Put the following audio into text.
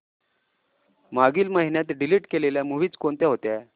मागील महिन्यात डिलीट केलेल्या मूवीझ कोणत्या होत्या